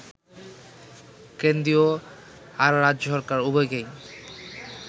কেন্দ্রীয় আর রাজ্য সরকার, উভয়কেই